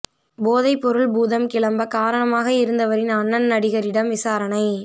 போதைப் பொருள் பூதம் கிளம்ப காரணமாக இருந்தவரின் அண்ணன் நடிகரிடம் விசாரணை